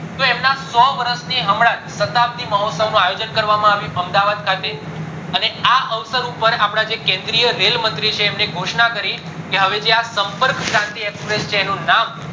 તો એમના સો વર્ષ ની હમણાં સાતપડી મહોત્સવ નું આયોજન કરવા માં આવ્યું અમદાવાદ ખાતે અને આ અવસર ઉપર અપડા જે કેન્દ્રીય રેલ મંત્રી છે એમને ખોશના કરી કે હવે જે આ સંપર્ક સારથી express છે એનું નામ